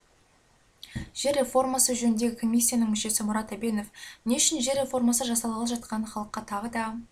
жер реформасы жөніндегі комиссияның мүшесі мұрат әбенов не үшін жер реформасы жасалғалы жатқанын халыққа тағы да